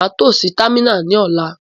Màa to si támìnà ní ọ̀la